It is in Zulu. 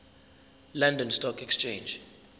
london stock exchange